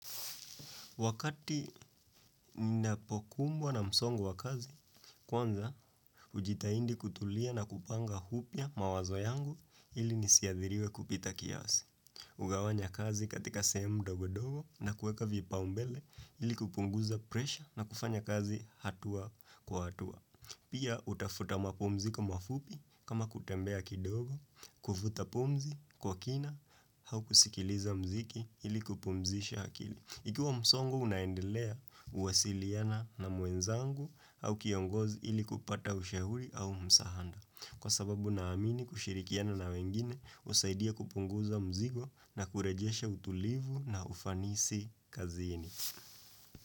Wakati ninapokumbwa na msongo wa kazi, kwanza hujitahidi kutulia na kupanga upya mawazo yangu ili nisiadhiriwe kupita kiasi. Hugawanya kazi katika sehemu ndogo ndogo na kuweka vipaumbele ili kupunguza presha na kufanya kazi hatua kwa hatua. Pia hutafuta mapumziko mafupi kama kutembea kidogo, kuvuta pumzi kwa kina au kusikiliza mziki ili kupumzisha akili. Ikiwa msongo unaendelea, huwasiliana na mwenzangu au kiongozi ili kupata ushauri au msaada. Kwa sababu naamini kushirikiana na wengine, husaidia kupunguza mzigo na kurejesha utulivu na ufanisi kazini.